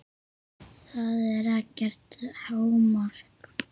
Það er ekkert hámark.